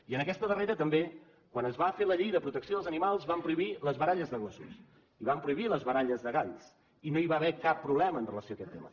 i en aquesta darrera també quan es va fer la llei de protecció dels animals vam prohibir les baralles de gossos i vam prohibir les baralles de galls i no hi va haver cap problema en relació amb aquest tema